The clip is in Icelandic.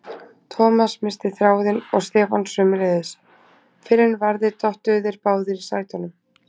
Thomas missti þráðinn og Stefán sömuleiðis, fyrr en varði dottuðu þeir báðir í sætunum.